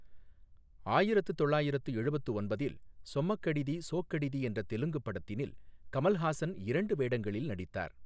ஆயிரத்து தொள்ளாயிரத்து எழுபத்து ஒன்பதில் சொம்மகடிதி, சோக்கடிதி என்ற தெலுங்குப் படத்தினில் கமல்ஹாசன் இரண்டு வேடங்களில் நடித்தார்.